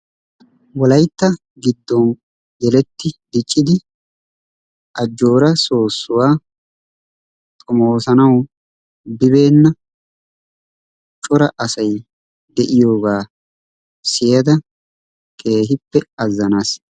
wollaytta giddon yelletti diiccidi ajjoora soossuwaa xoomosanawu biibenna cora asay de'iyoogaa siyada keehippe azaanaas.